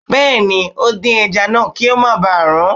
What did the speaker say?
Bẹ́ẹ̀ni, ó dín ẹja náà kí ó má ba rún